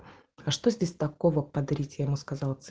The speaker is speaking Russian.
а что здесь такого подарите маска